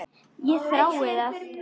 Ég þrái það.